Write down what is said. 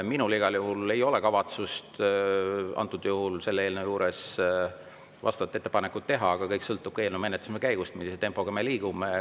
Minul igal juhul ei ole kavatsust selle eelnõu juures vastavat ettepanekut teha, aga kõik sõltub eelnõu menetlemise käigust, millise tempoga me liigume.